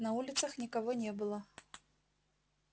на улицах никого не было